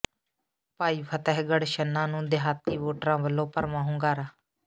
ਭਾਈ ਫ਼ਤਿਹਗੜ੍ਹ ਛੰਨਾ ਨੂੰ ਦਿਹਾਤੀ ਵੋਟਰਾਂ ਵੱਲੋਂ ਭਰਵਾਂ ਹੁੰਗਾਰਾ